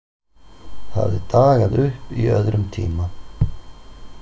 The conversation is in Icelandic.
Hafði dagað uppi í öðrum tíma.